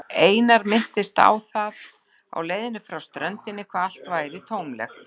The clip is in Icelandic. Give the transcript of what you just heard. Einar minntist á það á leiðinni frá ströndinni hvað allt væri tómlegt.